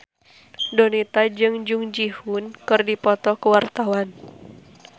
Donita jeung Jung Ji Hoon keur dipoto ku wartawan